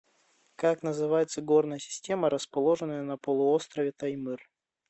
как называется горная система расположенная на полуострове таймыр